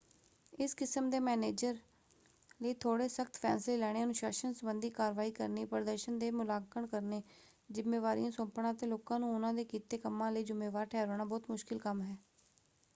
ਇਸ ਕਿਸਮ ਦੇ ਮੈਨੇਜਰ ਲਈ ਥੋੜ੍ਹੇ ਸਖ਼ਤ ਫ਼ੈਸਲੇ ਲੈਣੇ ਅਨੁਸ਼ਾਸਨ ਸੰਬੰਧੀ ਕਾਰਵਾਈ ਕਰਨੀ ਪ੍ਰਦਰਸ਼ਨ ਦੇ ਮੁਲਾਂਕਣ ਕਰਨੇ ਜ਼ਿੰਮੇਵਾਰੀਆਂ ਸੌਂਪਣਾ ਅਤੇ ਲੋਕਾਂ ਨੂੰ ਉਹਨਾਂ ਦੇ ਕੀਤੇ ਕੰਮਾਂ ਲਈ ਜ਼ਿੰਮੇਵਾਰ ਠਹਿਰਾਉਣਾ ਬਹੁਤ ਮੁਸ਼ਕਲ ਕੰਮ ਹੈ।